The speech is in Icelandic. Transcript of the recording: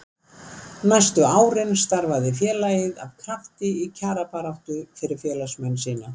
næstu árin starfaði félagið af krafti í kjarabaráttu fyrir félagsmenn sína